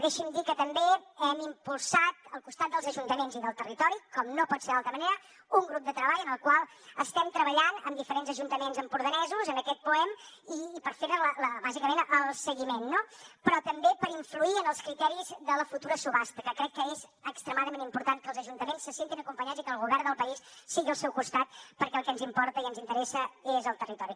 deixi’m dir que també hem impulsat al costat dels ajuntaments i del territori com no pot ser d’altra manera un grup de treball en el qual estem treballant amb diferents ajuntaments empordanesos en aquest poem i per fer ne bàsicament el seguiment no però també per influir en els criteris de la futura subhasta que crec que és extremadament important que els ajuntaments se sentin acompanyats i que el govern del país sigui al seu costat perquè el que ens importa i ens interessa és el territori